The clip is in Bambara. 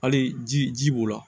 Hali ji ji b'u la